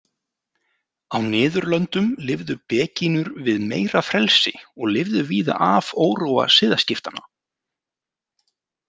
Á Niðurlöndum lifðu begínur við meira frelsi og lifðu víða af óróa siðaskiptanna.